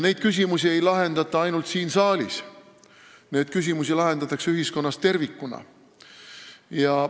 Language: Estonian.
Neid küsimusi ei lahendata ainult siin saalis, neid lahendatakse ühiskonnas tervikuna.